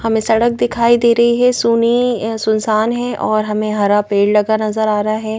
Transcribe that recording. हमें सड़क दिखाई दे रही है सुनि सुनसान है और हमें हरा पेड़ लगा नजर आ रहा है।